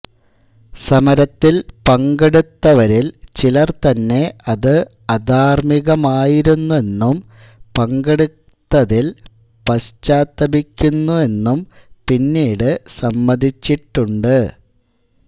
സമരത്തിൽ പങ്കെടുത്തവരിൽ ചിലർ തന്നെ അത് അധാർമ്മികമായിരുന്നെന്നും പങ്കെടുത്തതിൽ പശ്ചാത്തപിക്കുന്നെന്നും പിന്നീടു സമ്മതിച്ചിട്ടുണ്ട്